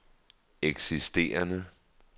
eksisterende